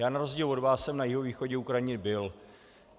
Já na rozdíl od vás jsem na jihovýchodě Ukrajiny byl.